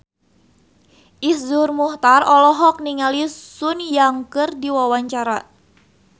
Iszur Muchtar olohok ningali Sun Yang keur diwawancara